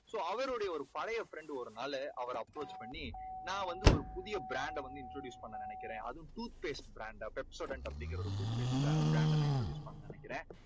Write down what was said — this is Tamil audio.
so அவருடைய பழைய friend ஒரு நாள் அவரை approach பண்ணி நான் வந்து ஒரு புதிய brand ட வந்து introduce பண்ண நினைக்கறேன். அதுவும் tooth paste brand Pepsodent அப்படிங்கற tooth paste brand டை நான் introduce பண்ணணும்னு நினைக்கறேன்.